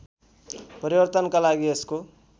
परिवर्तनका लागि यसको